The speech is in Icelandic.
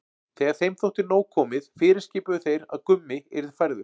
Þegar þeim þótti nóg komið fyrirskipuðu þeir að Gummi yrði færður.